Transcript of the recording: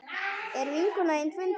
Er vinkona þín fundin?